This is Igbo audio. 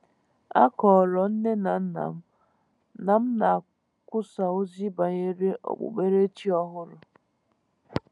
A kọọrọ nne na nna m na m na-ekwusa ozi banyere okpukperechi ọhụrụ.